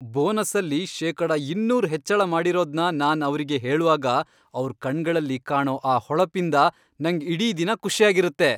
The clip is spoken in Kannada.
ಬೋನಸ್ಸಲ್ಲಿ ಶೇಕಡ ಇನ್ನೂರ್ ಹೆಚ್ಚಳ ಮಾಡಿರೋದ್ನ ನಾನ್ ಅವ್ರಿಗ್ ಹೇಳ್ವಾಗ, ಅವ್ರ್ ಕಣ್ಗಳಲ್ಲಿ ಕಾಣೋ ಆ ಹೊಳಪಿಂದ ನಂಗ್ ಇಡೀ ದಿನ ಖುಷಿಯಾಗಿರತ್ತೆ.